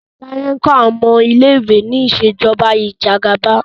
Taye nkó awọn ọmọ ilé ìwé ní Ìṣèjọba Ìjẹgàba